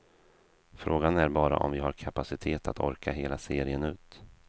Frågan är bara om vi har kapacitet att orka hela serien ut.